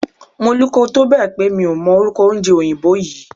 Mo luko tó bẹ̀ pé mi ò mọ orúkọ oúnjẹ òyìnbó yí.